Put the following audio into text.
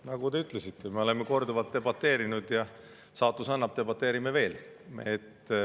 Nagu te ütlesite, me oleme korduvalt debateerinud, ja kui saatus annab, debateerime veel.